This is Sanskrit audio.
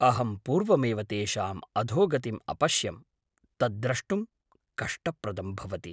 अहं पूर्वमेव तेषाम् अधोगतिम् अपश्यं, तत् द्रष्टुं कष्टप्रदं भवति।